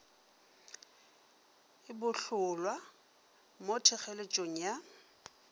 e bohlolwa mo thekgeletšong ya